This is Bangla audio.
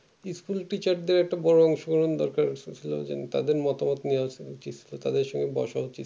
school-teacher দেড় একটা বড়ো অংশগ্রহণের দরকার ছেলে দেড় জন তাদের মোটা মোট নেয়ার জন্য তাদের সঙ্গে বস উচিত কি না